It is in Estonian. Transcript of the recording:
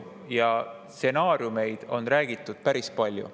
Nendest stsenaariumidest on räägitud päris palju.